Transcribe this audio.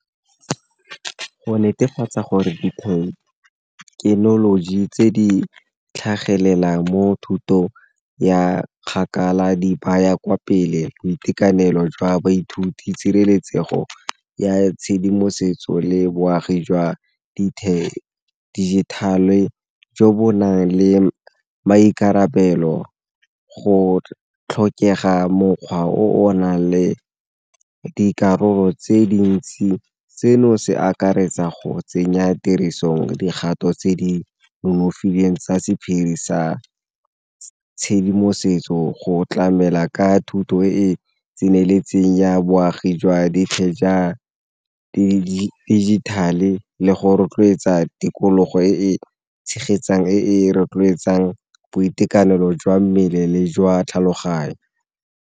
Go netefatsa gore thekenoloji tse di tlhagelelang mo thutong ya kgakala di baya kwa pele boitekanelo jwa baithuti, tshireletsego ya tshedimosetso, le boagi jwa digital-e jo bo nang le maikarabelo go tlhokega mokgwa o o nang le dikarolo tse dintsi. Seno se akaretsa go tsenya tirisong dikgato tse di nonofileng tsa sephiri sa tshedimosetso go tlamela ka thuto e e tseneletseng ya boagi jwa digital-e le go rotloetsa tikologo e e tshegetsang, e e rotloetsang boitekanelo jwa mmele le jwa tlhaloganyo.